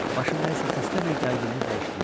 Başım nəyəsə xəstə bir gərginliklə işləyirdi.